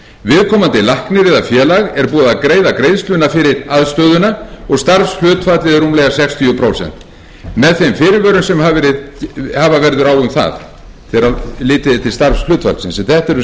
búið að greiða greiðsluna fyrir aðstöðuna og starfshlutfallið er rúmlega sextíu prósent með þeim fyrirvörum sem verður að hafa á um það þegar litið er til starfshlutfallsins en þetta eru